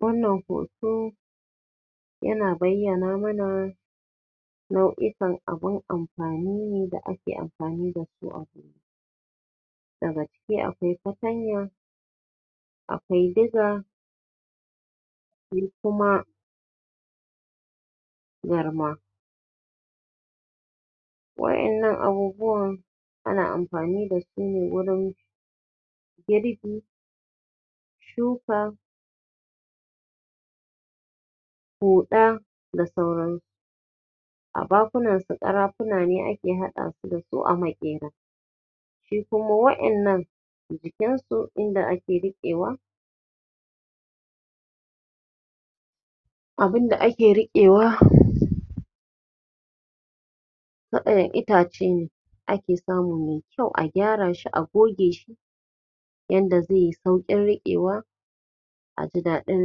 Wannan hoto yana bayyana mana nau'ikan abun amfani ne da ake amfani dasu daga ciki akwai fatanya akwai diga sai kuma garma waƴannan abubuwan ana amfani wurin girbi shuka huɗa da sauransu a bakunan su ƙarafuna ne da ake haɗa su dasu a maƙera su kuma waƴannan jikin su inda ake riƙewa Abunda ake riƙewah. waƴanda itace ne ake samu mai kyau a gyara shi a goge shi yanda zai yi sauƙin riƙewa aji daɗin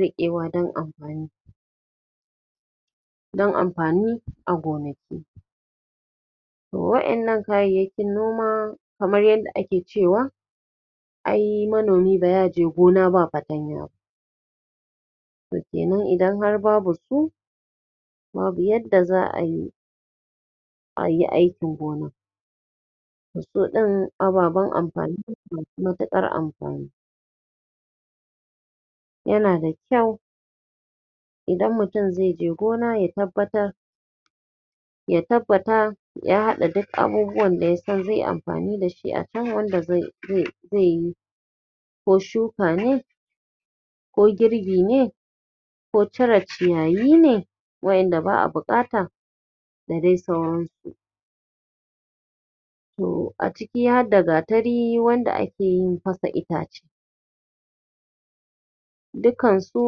riƙewa dan amfani dan amfani a gonaki waƴannan kayayyakin gona kamar yadda ake ceawa ai manomi ba ya je gona ba fatanya ba to kenan idan har babu su babu yadda za ayi ayi aikin gona Su ɗin ababen amfani ne, masu matuƙar amfani yana da kyau idan mutum zai je gona ya tabbatar ya tabbata ya haɗa dik abubuwan da ya san zai amfani dashi a can wanda zai zayi ko shuaka ne ko girbi ne ko cire ciyayi ne waƴanda ba a buƙata da dai sauransu to a ciki har da gatari wanda ake yin fasa itace dukkansu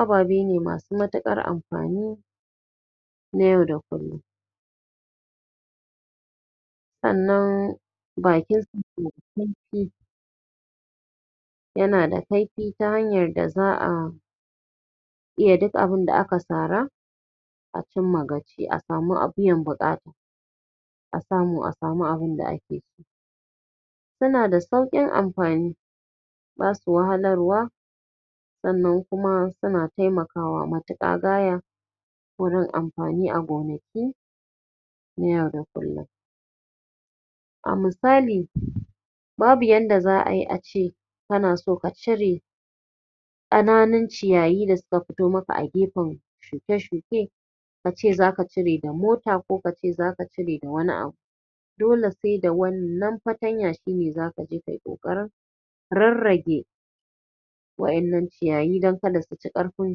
ababe ne masu matuƙar amfani na yau da kullum sannan bakin su na da kaifi yana da kaifi ta hanyar da za a iya dik abunda aka sara a cimma gaci a samu biyan buƙata a samu a samu abunda ake so suna da sauƙin amfani basu wahalarwa sannan kuma suna taimkawa matuƙa gaya wurin amfani a gonaki na yau da kullum a misali babu yadda za ai ace kana son ka cire ƙananun ciyayi da suka fito maka a gefen shuke-shuke kace zaka cire da mofa ko kace zaka cire da wani abu dole sai da wannan fatanya shi ne zaka je kayi wannan ƙoƙarin rarrage waƴannan ciyayi dan kar su ci ƙarfin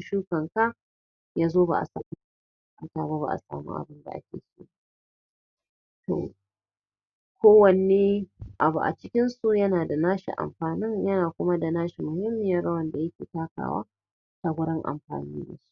shukarka yazo ba a samu ba asamu abunda ake so ba kowanni abu a cikin su yana da nashi amfanin yana kuma da nashi muhimmiyar rawar da yake takawa a gurin amfani dashi